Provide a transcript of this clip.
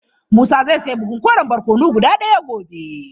Musa zai sayi buhun koren barkono guda daya gobe.